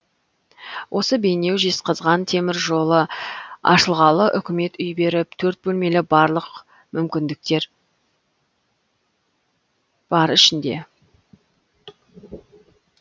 осы бейнеу жезқазған темір жолы ашылғалы үкімет үй беріп төрт бөлмелі барлық мүмкіндіктер бар ішінде